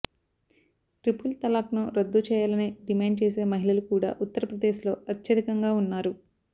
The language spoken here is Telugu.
ట్రిపుల్ తలాక్ను రద్దు చేయాలని డిమాండ్ చేసే మహిళలు కూడా ఉత్తరప్రదేశ్లో అత్యధికంగా ఉన్నారు